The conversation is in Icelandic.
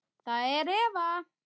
Það er Eva.